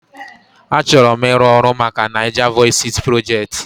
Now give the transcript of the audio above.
Achọrọ m ịrụ ọrụ maka NaijaVoices Project